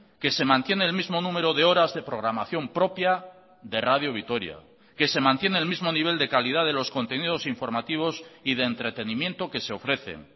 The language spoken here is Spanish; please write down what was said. que se mantiene el mismo número de horas de programación propia de radio vitoria que se mantiene el mismo nivel de calidad de los contenidos informativos y de entretenimiento que se ofrecen